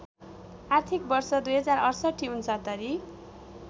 आर्थिक वर्ष २०६८ ६९